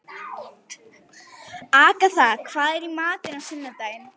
Agatha, hvað er í matinn á sunnudaginn?